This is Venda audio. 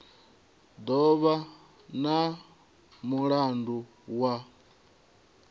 do vha na mulandu wa